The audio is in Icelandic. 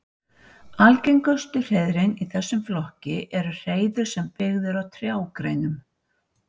Algengustu hreiðrin í þessum flokki eru hreiður sem byggð eru á trjágreinum.